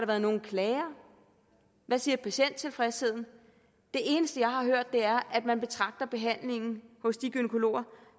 været nogen klager hvad siger patienttilfredsheden det eneste jeg har hørt er at man betragter behandlingen hos de gynækologer